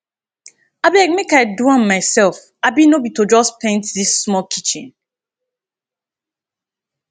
abeg make i do am myself abi no be to just paint dis small kitchen